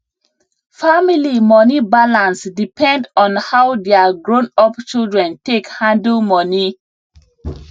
family money balance depend on how their grownup children take handle money